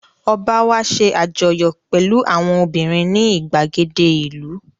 Ọ̀ba wá ṣe àjọyọ̀ pẹ̀lú àwọn obìnrin ní ìgbàgede ìlú